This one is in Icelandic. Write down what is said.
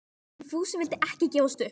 En Fúsi vildi ekki gefast upp.